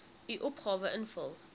u opgawe invul